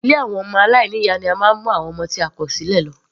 Ilé ọmọ aláìní ìyá ni a máa ń mu àwọn ọmọ tí a kò sílẹ̀.